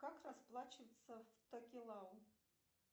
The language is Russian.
как расплачиваться в токелау